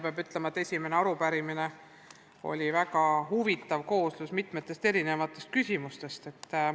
Peab ütlema, et esimene arupärimine on väga huvitav kooslus mitmest erinevast küsimusest.